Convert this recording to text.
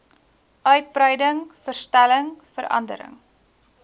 uitbreiding verstelling verandering